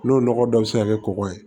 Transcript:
N'o nɔgɔ dɔ bi se ka kɛ kɔgɔ ye